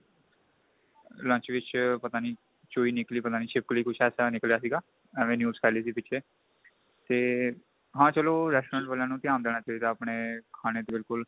lunch ਵਿੱਚ ਪਤਾ ਨੀ ਚੂਈ ਨਿਕਲੀ ਪਤਾ ਨੀ ਛਿਪਕਲੀ ਕੁੱਝ ਇਸ ਤਰ੍ਹਾਂ ਦਾ ਨਿਕਲੀਆ ਸੀਗਾ ਏਵੈ news ਫੈਲੀ ਕਸੀ ਪਿਛੇ ਤੇ ਹਾਂ ਚਲੋ restaurant ਵਾਲਿਆ ਨੂੰ ਧਿਆਨ ਦੇਣਾ ਚਾਹੀਦਾ ਆਪਣੇ ਖਾਣੇ ਤੇ ਬਿਲਕੁਲ